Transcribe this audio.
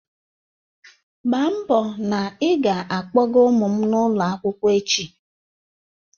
Mgba mbo na ị ga-akpọga ụmụ m n'ụlọ akwụkwọ echi!